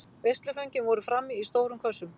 Veisluföngin voru frammi í stórum kössum.